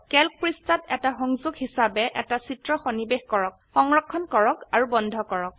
Calc পৃষ্ঠাত এটা সংযোগ হিসাবে এটা চিত্ৰ সন্নিবেশ কৰক সংৰক্ষণ কৰক আৰু বন্ধ কৰক